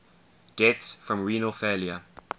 deaths from renal failure